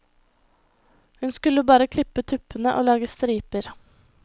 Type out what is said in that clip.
Hun skulle bare klippe tuppene og lage striper.